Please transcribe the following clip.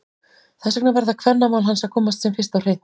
Þess vegna verða kvennamál hans að komast sem fyrst á hreint!